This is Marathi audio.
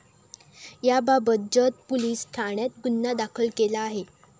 याबाबत जत पोलिस ठाण्यात गुन्हा दाखल केला आहे.